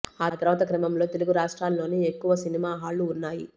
ఆ తర్వాత క్రమంలో తెలుగు రాష్ట్రాల్లోనే ఎక్కువ సినిమా హాళ్లు ఉన్నాయి